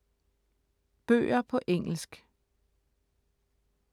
Bøger på engelsk